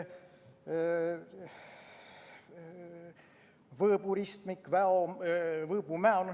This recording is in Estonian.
Võõbu ristmik, Võõbu–Mäo lõik.